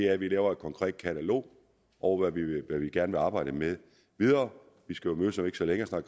at vi laver et konkret katalog over hvad vi gerne vil arbejde med videre vi skal jo mødes om ikke så længe